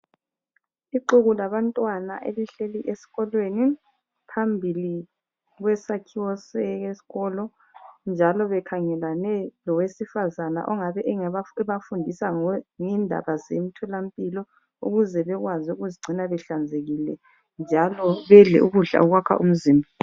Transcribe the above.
Ixuku labantwana elihleli esikolweni phambili kwesakhiwo sesikolo njalo bekhangelane lowesifazana ongabe ebafundisa ngendaba zemtholampilo ukuze bekwazi ukuzigcina behlanzekile njalo bedle ukudla okwakha umzimba.